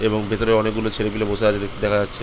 এবং ভেতরে অনকে গুলো ছেলে পুলে বসে আছে দেখা যাচ্ছে।